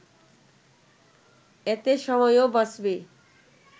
এতে সময়ও বাঁচবে